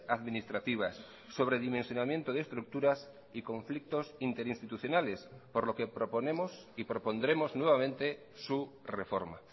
administrativas sobredimensionamiento de estructuras y conflictos interinstitucionales por lo que proponemos y propondremos nuevamente su reforma